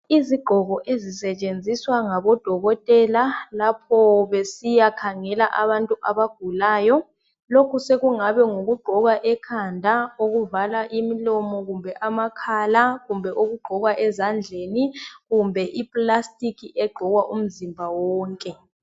Izigqoko ezisetshenziswa ngabodokotela lapho besiyakhangela abantu abagulayo, lokhu sekungaba ngokugqokwa ekhanda, okuvala imilomo kumbe amakhala kumbe okugqokwa ezandleni kumbe i"plastic"egqokwa umzimba wonke.